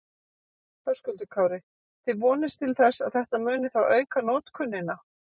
Höskuldur Kári: Þið vonist til þess að þetta muni þá auka notkunina?